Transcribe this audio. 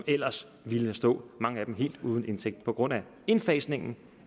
ellers ville stå helt uden indtægt på grund af indfasningen